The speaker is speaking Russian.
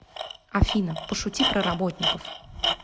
афина пошути про работников